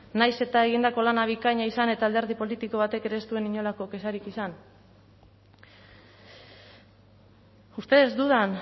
nahiz eta egindako lana bikaina izan eta alderdi politiko batek ere ez zuen inolako kexarik izan ustedes dudan